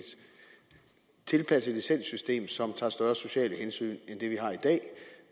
tilpasset licenssystem som tager større sociale hensyn end